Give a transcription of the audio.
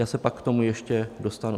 Já se pak k tomu ještě dostanu.